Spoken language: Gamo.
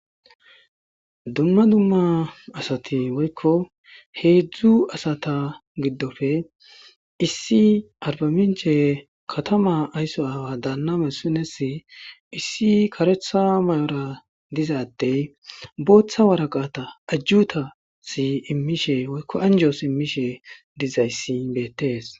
dumma dumma asati woykko heedzdzu asata giddofe issi arbaminche katama aysso aawa daanname sinesi issi karetha may7ora dizaddey booththa waraqata ajjuta si immishe oykko anjos immishe dizayssi beettees